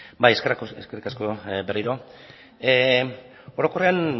da hitza bai eskerrik asko berriro orokorrean